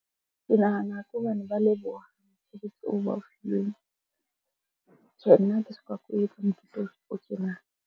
Ke nahana ke hobane ba leboha oo ba o . So nna ha ke soka ko etsa .